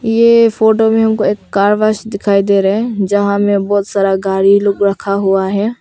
ये फोटो में हमको एक कार वाश दिखाई दे रहे है जहां मैं बहुत सारा गाड़ी लोग रखा हुआ है।